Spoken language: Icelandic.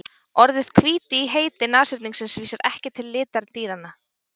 Orðið hvíti í heiti nashyrningsins vísar ekki til litar dýranna.